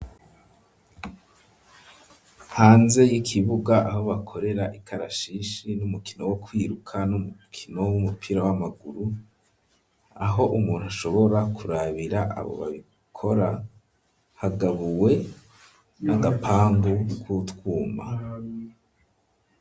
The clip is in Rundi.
Hanze y'ikibuga abo bakorera ikarashishi n'umukino wo kwiruka n'umukino w'umupira w'amaguru aho umuntu ashobora kurabira abo babikora hagabuwe n'agapangu k'utwuma.